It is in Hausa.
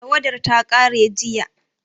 Tawadar ta ƙare jiya